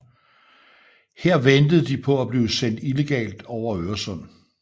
Her ventede de på at blive sendt illegalt over Øresund